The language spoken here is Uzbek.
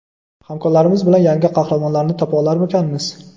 hamkorlarimiz bilan yangi qahramonlarni topa olarmikanmiz.